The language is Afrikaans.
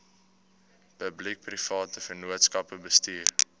publiekeprivate vennootskappe bestuur